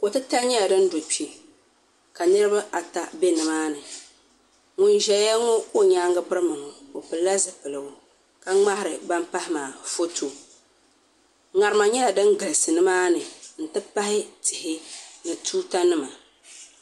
Kotitali nyɛla din do kpɛ ka Niraba ata bɛ nimaani ŋun ʒɛya ka o nyaanga birima ŋo o pilila zipigu ka ŋmaari ban pahi maa foto ŋarima nyɛla din galisi nimaani n ti pahi tihi ni tuuta nima